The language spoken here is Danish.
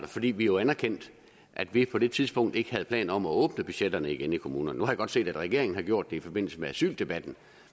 fordi vi jo anerkendte at vi på det tidspunkt ikke havde planer om at åbne budgetterne igen i kommunerne nu har jeg godt set at regeringen har gjort det i forbindelse med asyldebatten